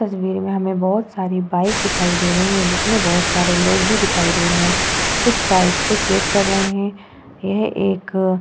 इस तस्वीर में हमें बोहोत सारी बाइक दिखाई दे रही है जिसमे बोहोत सारे लोग भी दिखाई दे रहे है। कुछ बाइक को चेक कर रहे है। यह एक अ --